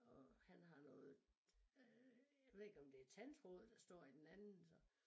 Og han har noget øh jeg ved ikke om det er tandtråd der står i den anden så